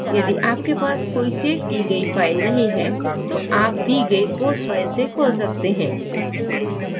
यदि आपके पास कोई सेव की गयी file नहीं है तो आप दी गई code file से खोल सकते हैं